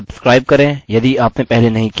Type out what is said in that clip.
कृपया सब्स्क्राइब करें यदि आपने पहले नहीं किया है